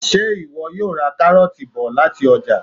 Ṣé ìwọ yóò ra káróọ̀ti bọ̀ lati ọ́jà?